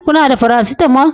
Kuna da paracetamol